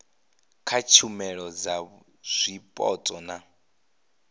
kha tshumelo dza zwipotso na